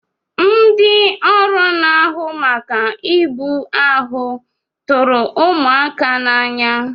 Ndị ọrụ na-ahụ maka ibu ahụ tụrụ ụmụaka n'anya.